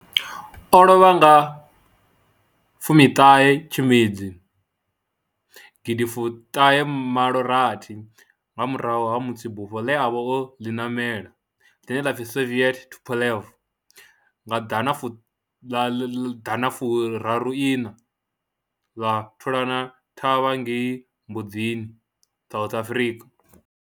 O lovha nga fumi ṱhahe Tshimedzi gidi fuṱhahe fumalo rathi nga murahu ha musi bufho le a vha o li namela, line la pfi Soviet Tupolev ḓana furaru iṋa ḽa thulana thavha ngei Mbuzini, South Africa.